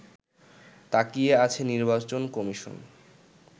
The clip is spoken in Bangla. তাকিয়ে আছে নির্বাচন কমিশন